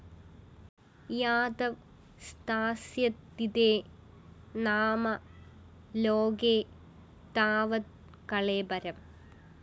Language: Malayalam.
യാവത് സ്ഥാസ്യതി തേ നാമ ലോകേ താവത് കളേബരം